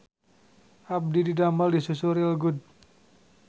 Abdi didamel di Susu Real Good